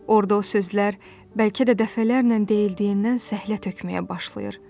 Orda o sözlər bəlkə də dəfələrlə deyildiyindən səhlət tökməyə başlayır.